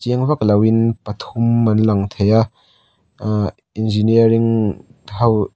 chiang vak lovin pathum an lang thei a ahh engineering ho --